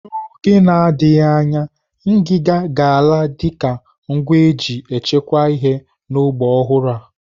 N'oge na-adịghị anya, ngiga ga-ala dịka ngwa eji echekwa ihe n'ogba ọhụrụ a.